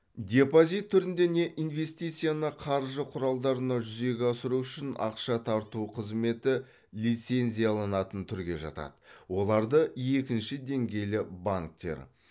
депозит түрінде не инвестицияны қаржы құралдарына жүзеге асыру үшін ақша тарту қызметі лицензияланатын түрге жатады оларды екінші деңгейлі банктер